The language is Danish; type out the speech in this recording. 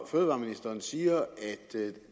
fødevareministeren siger